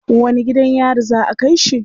Wani gidan yari za a kai shi?